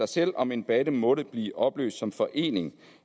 selv om en bande måtte blive opløst som forening